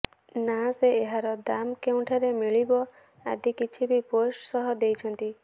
ନା ସେ ଏହାର ଦାମ୍ କେଉଁଠାରେ ମିଳିବ ଆଦି କିଛି ବି ପୋଷ୍ଟ୍ ସହ ଦେଇଛନ୍ତି